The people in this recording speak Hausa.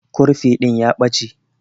Kurfi din ya Bache.